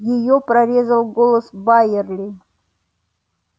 её прорезал голос байерли